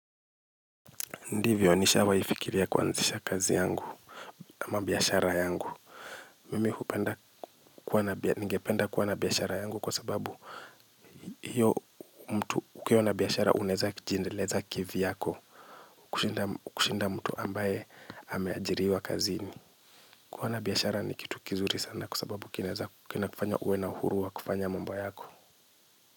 Ndivyo, nishawahi fikiria kuanzisha kazi yangu amabiashara yangu. Mimi ningependa kuwa na biashara yangu kwa sababu ukiwa na biashara unaweza jiendeleza kivyako kushinda mtu ambaye ameajiriwa kazini. Kuwa na biashara ni kitu kizuri sana kwa sababu kina kufanya uwe na uhuru wa kufanya mamba yako.